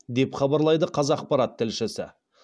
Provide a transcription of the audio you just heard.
деп хабарлайды қазақпарат тілшісі